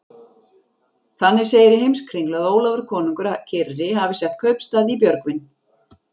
Þannig segir í Heimskringlu að Ólafur konungur kyrri hafi sett kaupstað í Björgvin.